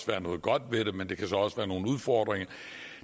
være noget godt ved men der kan så også være nogle udfordringer